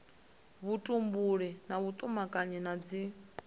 vhutumbuli na vhutumanyi na dzi